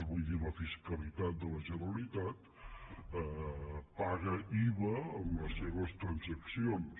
vull dir la fiscalitat de la generalitat paga iva en les seves transaccions